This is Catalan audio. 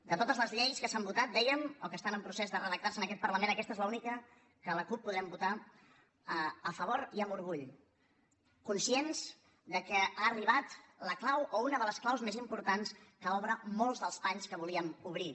de totes les lleis que s’han votat dèiem o que estan en procés de redactarse en aquest parlament aquesta és l’única que la cup podrem votar a favor i amb orgull conscients que ha arribat la clau o una de les claus més importants que obre molts dels panys que volíem obrir